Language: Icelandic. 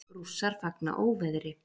Rússar fagna óveðri